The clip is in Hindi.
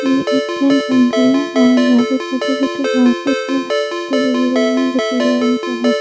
ये एक जंगल है और यहा पे छोटे छोटे भी लगते हुए गिरे हुए है जो की पीले रंग के है।